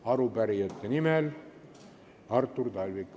Arupärijate nimel Artur Talvik.